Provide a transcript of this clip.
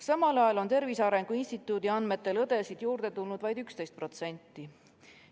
Samal ajal on Tervise Arengu Instituudi andmetel õdesid juurde tulnud vaid 11%.